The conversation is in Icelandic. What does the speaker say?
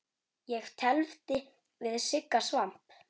Ég tefldi við Sigga Svamp.